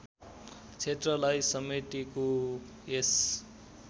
क्षेत्रलाई समेटेको यस